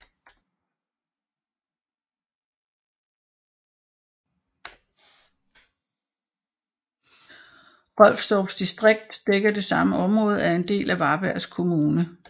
Rolfstorps distrikt dækker det samme område og er en del af Varbergs kommun